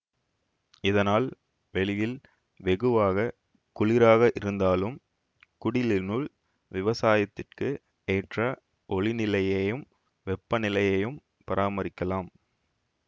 இதனால் வெளியில் வெகுவாக குளிராக இருந்தாலும் குடிலினுள் விவசாயத்திற்கு ஏற்ற ஒளிநிலையையும் வெப்பநிலையையும் பராமரிக்கலாம்